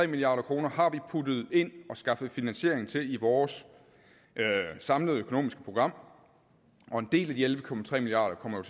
milliard kroner har vi puttet ind og skaffet finansiering til i vores samlede økonomiske program og en del af de elleve milliard kroner